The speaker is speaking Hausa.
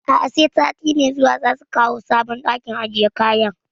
A'a, sai sati mai zuwa za su kawo sabon ɗakin ajiye kayan